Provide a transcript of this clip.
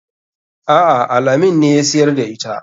A'a al-amin ne ya siyar da ita.